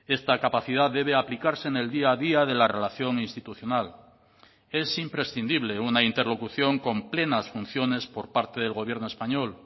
esta capacidad debe aplicarse en el día a día de la relación institucional es imprescindible una interlocución con plenas funciones por parte del gobierno español